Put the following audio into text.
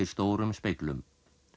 stórum speglum